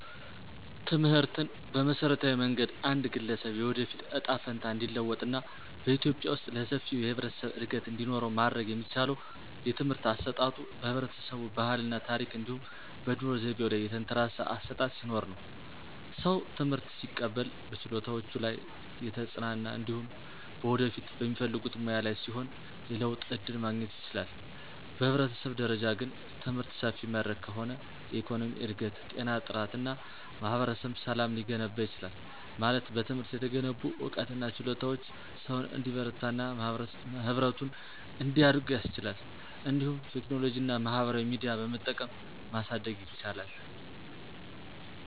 ትምህርትን በመሠረታዊ መንገድ አንድ ግለሰብ የወደፊት እጣ ፈንታ እንዲለወጥ እና በኢትዮጵያ ውስጥ ለሰፊው የህብረተሰብ እድገት እንዲኖረው ማድረግ የሚቻለው የትምህርት አሰጣጡ በህብረተሰቡ ባህል እና ታረክ እንዲሁም በኑሮ ዘይቤው ላይ የተንተራሰ አሠጣጥ ሲኖርነው። ሰው ትምህርት ሲቀበል በችሎታዎቹ ላይ የተጽናና እንዲሁም በወደፊት በሚፈልጉት ሙያ ላይ ሲሆን የለውጥ ዕድል ማግኘት ይችላል። በህብረተሰብ ደረጃ ግን፣ ትምህርት ሰፊ መድረክ ከሆነ የኢኮኖሚ እድገት፣ ጤና ጥራት እና ማህበረሰብ ሰላም ሊገነባ ይችላል። ማለት በትምህርት የተገነቡ ዕውቀትና ችሎታዎች ሰውን እንዲበረታና ህብረቱን እንዲያድጉ ያስችላሉ። እንዲሁም ቴክኖሎጂና ማህበራዊ ሚዲያ በመጠቀም ማሳደግ ይቻላል።